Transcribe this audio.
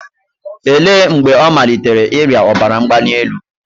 Olee mgbe ọ malitere ịrịa ọbara mgbali elu?